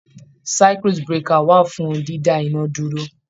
Circuit breaker wà fún dídá iná dúró.